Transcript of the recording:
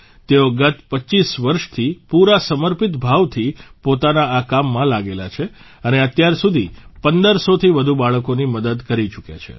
તેઓ ગત 25 વર્ષથી પૂરા સમર્પિત ભાવથી પોતાના આ કામમાં લાગેલા છે અને અત્યાર સુધી 150૦થી વધુ બાળકોની મદદ કરી ચૂક્યા છે